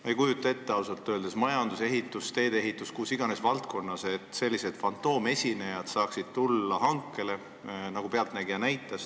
Ma ei kujuta ausalt öeldes ette, et majanduses, ehituses, teede ehituses või mis iganes valdkonnas saaksid tulla hankele sellised fantoomesinejad, nagu "Pealtnägija" näitas.